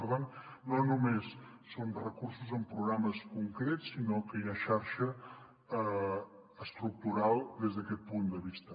per tant no només són recursos en programes concrets sinó que hi ha xarxa estructural des d’aquest punt de vista